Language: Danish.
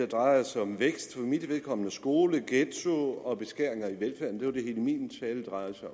drejede sig om vækst for mit vedkommende om skoler ghettoer og beskæringer i velfærden det var det hele min tale drejede sig